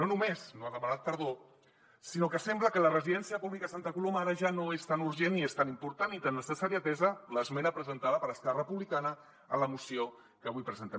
no només no ha demanat perdó sinó que sembla que la residència pública a santa coloma ara ja no és tan urgent ni és tan important ni tan necessària atesa l’esmena presentada per esquerra republicana en la moció que avui presentem